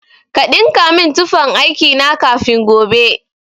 Ka ɗinka min tufan aiki na kafin gobe.